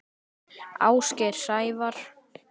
Ásgeir Sævar.